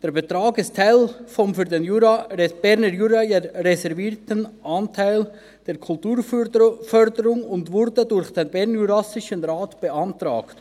Der Betrag ist Teil des für den Berner Jura reservierten Anteils der Kulturförderung und wurde durch den Bernjurassischen Rat (BJR) beantragt.